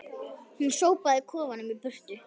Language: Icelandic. Hún sópaði kofanum í burtu